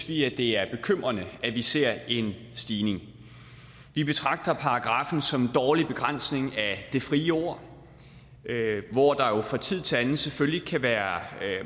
vi at det er bekymrende at vi ser en stigning vi betragter paragraffen som en dårlig begrænsning af det frie ord hvor der jo fra tid til anden selvfølgelig kan være